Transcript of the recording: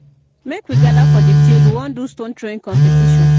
Make we gather for di field, we wan do stone throwing competition.